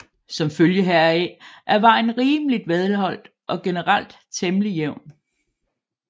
Som følge heraf er vejen rimeligt velholdt og generelt temmelig jævn